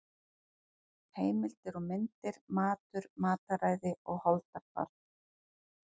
Heimildir og myndir Matur, mataræði og holdafar.